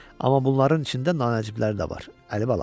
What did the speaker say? Amma bunların içində nancibləri də var, Əlibala.